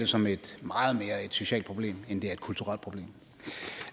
som et socialt problem end et kulturelt problem